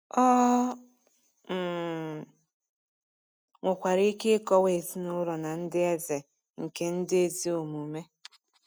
Ọ um nwekwara ike ịkọwa ezinụlọ na ndị eze nke ndị ezi omume.